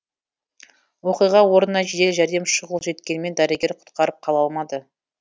оқиға орнына жедел жәрдем шұғыл жеткенмен дәрігер құтқарып қала алмады